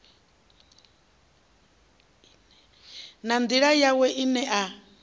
na nḓila yawe ine a